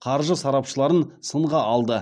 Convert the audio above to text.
қаржы сарапшыларының сынға алды